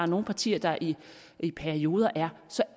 nogle partier der i perioder er